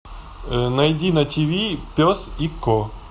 найди на тв пес и ко